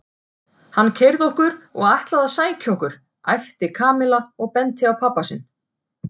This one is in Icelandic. Hann keyrði okkur og ætlaði að sækja okkur æpti Kamilla og benti á pabba sinn.